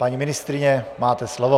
Paní ministryně, máte slovo.